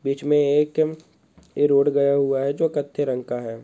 बीच मे एक ईम ये रोड गया हुआ है जो कत्थे रंग का है।